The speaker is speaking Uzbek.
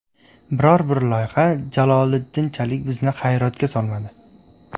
Biror-bir loyiha Jaloliddinchalik bizni hayratga solmadi.